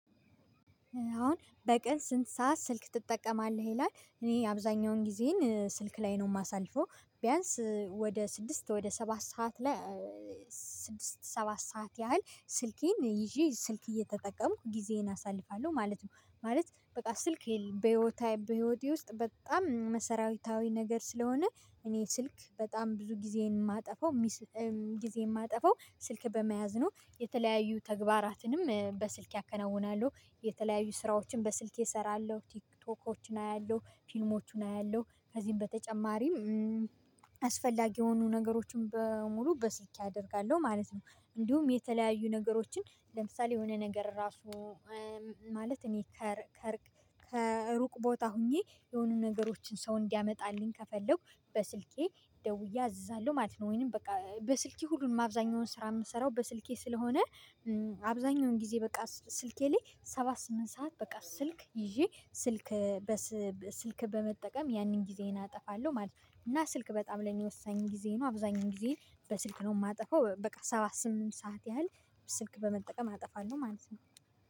አሁን በቀን ስንት ሰዓት ስልክ ትጠቀማለህ? ይላል እኔ አብዛኛውን ጊዜን ስልክ ላይ ነው የማሳልፈው ቢያንስ ወደ ስድስት ወደ ሰባት ሰዓት ላይ። ስድስት ሰባት ሰዓት ያህል ስልኬን ይዤ ስልክ እየተጠቀምኩ ጊዜዬን አሳልፋለሁ ማለት ነው። ማለት በቃ ስልኬን በህይወቴ ውስጥ በጣም መሰራዊታዊ ነገር ስለሆነ። እኔ ስልክ በጣም ብዙ ጊዜን የማጠፋው ጊዜን የማጠፋው ስልክ በመያዝ ነው። የተለያዩ ተግባራትንም በስልኬ አከናውናለሁ። የተለያዩ ስራዎችን በስልኬ እሰራለሁ ቲክቶኮችን አያለሁ ፊልሞችን አያለሁ ከዚህም በተጨማሪም አስፈላጊ የሆኑ ነገሮችን በሙሉ በስልኬ አደርጋለሁ ማለት ነው። እንዲሁም የተለያዩ ነገሮችን ለምሳሌ የሆነ ነገር ራሱ ማለት እኔ ከሩቅ ቦታ ሆኜ የሆኑ ነገሮችን ሰው እንዲያመጣልኝ ከፈለኩ በስልኬ ደውዬ አዝዛለው ማለት ነው። ወይንም በቃ በስልኬ ሁሉንም አብዛኛውን ስራ የምሰራው በስልኬ ስለሆነ። አብዛኛውን ጊዜ በቃ ስልኬ ላይ ሰባት ስምንት ሰዓት በቃ ስልክ ይዤ ስልክ በስልክ በመጠቀም ያንን ጊዜዬን አጠፋለሁ ማለት ነው። እና ስልክ በጣም ለኔ ወሳኝ ጊዜ ነው። አብዛኛው ጊዜ በስልክ ነው የማጠፋው በቃ ሰባት ስምንት ሰዓት ያህል ስልክ በመጠቀም አጠፋለሁ ማለት ነው